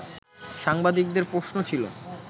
সাংবাদিকদের প্রশ্ন ছিল